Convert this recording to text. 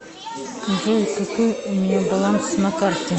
джой какой у меня баланс на карте